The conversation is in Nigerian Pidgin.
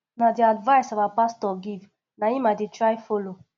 na the advice our pastor give na im i dey try follow